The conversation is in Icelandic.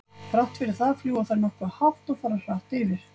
Þrátt fyrir það fljúga þær nokkuð hátt og fara hratt yfir.